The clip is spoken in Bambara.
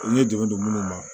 N ye dɛmɛ don minnu ma